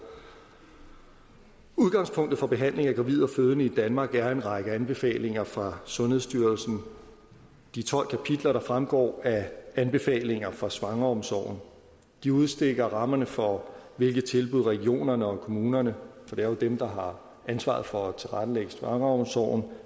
udgangspunktet for behandlingen af gravide og fødende i danmark er en række anbefalinger fra sundhedsstyrelsen de tolv kapitler der fremgår af anbefalinger for svangreomsorgen de udstikker rammerne for hvilke tilbud regionerne og kommunerne for det er jo dem der har ansvaret for at tilrettelægge svangreomsorgen